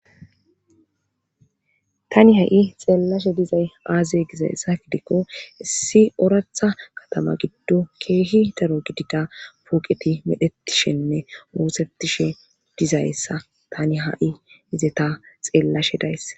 Tani hay xelashe dizaysi aze gidaayss gidiko issi oratha katama gidon keyi poqey medhetshenne osetishe deysa tani hay xelashe de'yis.